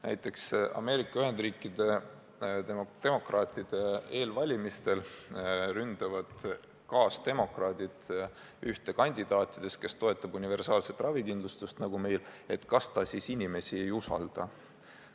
Näiteks Ameerika Ühendriikide demokraatide eelvalimistel ründavad kaasdemokraadid ühte kandidaatidest, kes toetab universaalset ravikindlustust nagu meil, et kas ta siis inimesi ei usalda.